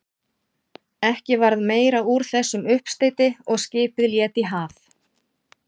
Ekki varð meira úr þessum uppsteyti og skipið lét í haf.